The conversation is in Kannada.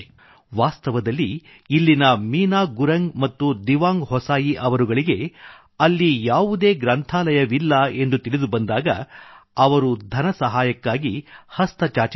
ವಾಸ್ತವದಲ್ಲಿ ಇಲ್ಲಿನ ಮೀನಾ ಗುರಂಗ್ ಮತ್ತು ದಿವಾಂಗ್ ಹೊಸಾಯಿ ಅವರುಗಳಿಗೆ ಅಲ್ಲಿ ಯಾವುದೇ ಗ್ರಂಥಾಲಯವಿಲ್ಲ ಎಂದು ತಿಳಿದುಬಂದಾಗ ಅದರ ನಿಧಿಗಾಗಿ ಅವರು ಸಹಾಯ ಹಸ್ತ ಚಾಚಿದರು